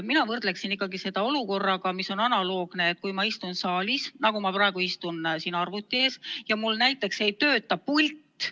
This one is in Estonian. Mina võrdlen seda analoogse olukorraga, kui ma istun saalis, nagu ma praegu istun siin arvuti ees, ja mul näiteks ei tööta pult.